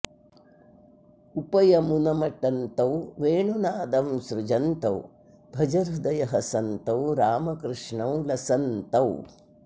उपयमुनमटन्तौ वेणुनादं सृजन्तौ भज हृदय हसन्तौ रामकृष्णौ लसन्तौ